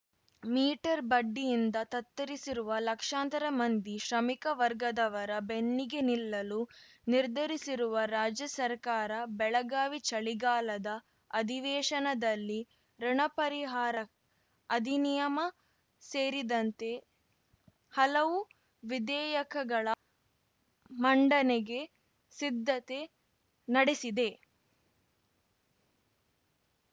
metre ಬಡ್ಡಿಯಿಂದ ತತ್ತರಿಸಿರುವ ಲಕ್ಷಾಂತರ ಮಂದಿ ಶ್ರಮಿಕ ವರ್ಗದವರ ಬೆನ್ನಿಗೆ ನಿಲ್ಲಲು ನಿರ್ಧರಿಸಿರುವ ರಾಜ್ಯ ಸರ್ಕಾರ ಬೆಳಗಾವಿ ಚಳಿಗಾಲದ ಅಧಿವೇಶನದಲ್ಲಿ ಋುಣ ಪರಿಹಾರ ಅಧಿನಿಯಮ ಸೇರಿದಂತೆ ಹಲವು ವಿಧೇಯಕಗಳ ಮಂಡನೆಗೆ ಸಿದ್ಧತೆ ನಡೆಸಿದೆ